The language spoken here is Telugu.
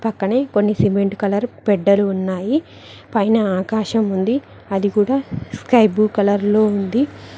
పక్కనే కొన్ని సిమెంట్ కలర్ ఫెడ్డరు ఉన్నాయి పైన ఆకాశం ఉంది అది కూడ స్కైబ్లూ కలర్ లో ఉంది.